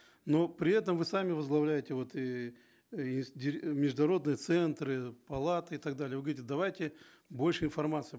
но при этом вы сами возглавляете вот и международные центры палаты и так далее вы говорите давайте больше информации